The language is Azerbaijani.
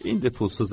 İndi pulsuzam.